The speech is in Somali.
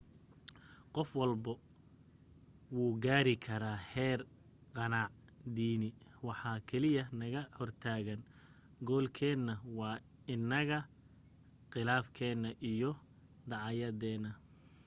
qof walba wuu gaari karaa heer qanaac diini waxa kaliya ee naga hortaagan goolkeena waa anaga qilaafkena iyo dacaayadena